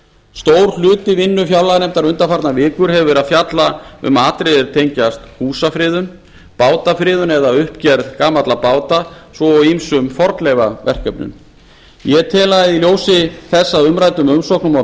stór hluti vinnu fjárlaganefndar undanfarnar vikur hefur verið að fjalla um atriði er tengjast húsafriðun bátafriðun eða uppgerð gamalla báta svo og ýmsum fornleifaverkefnum í ljósi þess að umræddum umsóknum og